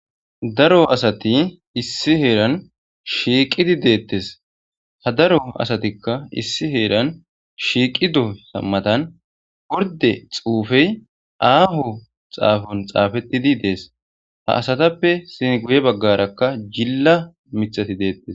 Daro asati issi heeran shiiqidi deettes ha daro asatikka issi heeran shiiqi do sammatan gorde xuufey aaho xaafon xaafettidi dees ha asatappe sin guye baggarakka jilla mithati deettes.